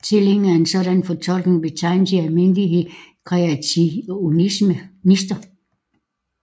Tilhængere af en sådan fortolkning betegnes i almindelighed kreationister